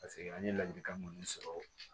Paseke an ye ladilikan minnu sɔrɔ